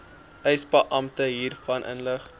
eisebeampte hiervan inlig